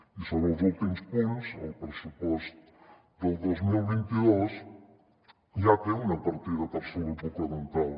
i sobre els últims punts el pressupost del dos mil vint dos ja té una partida per a salut bucodental